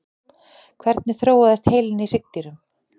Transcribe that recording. hvernig þróaðist heilinn í hryggdýrum